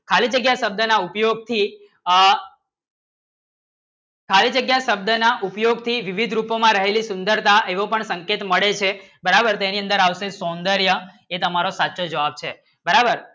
ખાલી જગ્યા શબ્દના ઉપયોગથી આ ખાલી જગ્યા શબ્દના ઉપયોગથી વિવિધ રૂપોમાં રહેલી સુંદરતા એવો પણ સંકેત મળે છે બરાબર તેની અંદર આવશે સૌંદર્ય એ તમારો સાચો જવાબ છે બરાબર